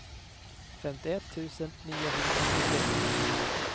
femtioett tusen niohundraåttiotre